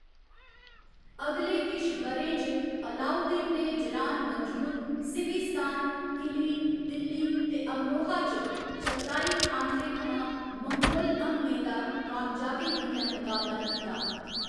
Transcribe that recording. अगले किश ब'रें च, अलाउद्दीन ने जरान मंजूर, सिविस्तान, किली, दिल्ली, ते अमरोहा च चगताई खानते थमां मंगोल हमलें दा कामयाबी कन्नै मकाबला कीता।